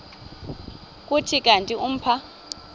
kuthi kanti umpha